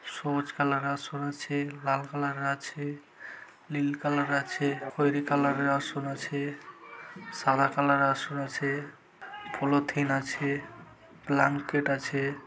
সবুজ কালার -এর আসন আছে। লাল কালার -এর আছে নীল কালার -এর আছে খয়েরি কালার -এর আসন আছে। সাদা কালার -এর আসন আছে পলিথিন আছে ব্ল্যাঙ্কেট আছে।